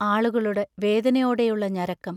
ആളുകളുടെ വേദനയോടെയുള്ള ഞരക്കം....